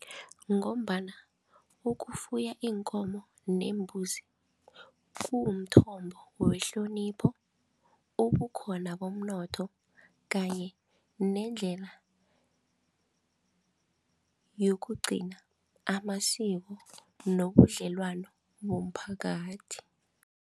Ngombana ukufuya iinkomo neembuzi kuwumthombo wehlonipho, ubukhona bomnotho kanye nendlela yokugcina amasiko nobudlelwano bomphakathi.